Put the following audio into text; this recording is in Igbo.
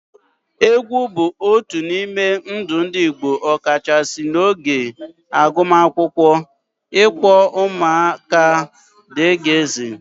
Egwu bụ otu n'ime ndụ ndị Igbo ọkachasị n'oge agbamakwụkwọ, ịkpọ ụmụaka aha, dgz.